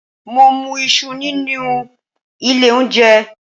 Mo mú Isu nínú ilé oúnjẹ